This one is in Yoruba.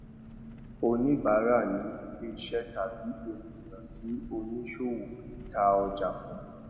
oníbárà ni ilẹiṣẹ tàbí ènìyàn tí oníṣòwò ta ọjà fún